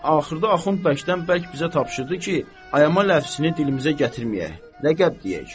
Axırda Axund bərkdən-bərk bizə tapşırdı ki, ayama ləfzini dilimizə gətirməyək, ləqəb deyək.